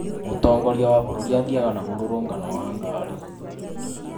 mũtongoria wa bũrũri athiĩyaga na murũrũngano wa ngaari .